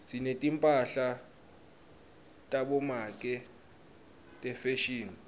sinetimphahla tabomake tefashini